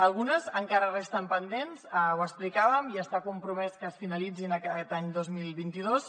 algunes encara resten pendents ho explicàvem i està compromès que es finalitzin aquest any dos mil vint dos